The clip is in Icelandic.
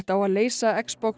á að leysa